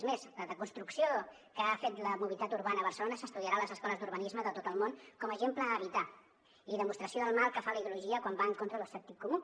és més la desconstrucció que ha fet de la mobilitat urbana a barcelona s’estudiarà a les escoles d’urbanisme de tot el món com a exemple a evitar i demostració del mal que fa la ideologia quan va en contra del sentit comú